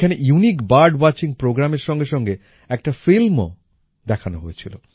এখানে unique bird watching programme এর সঙ্গে সঙ্গে একটা Filmও দেখানো হয়েছিল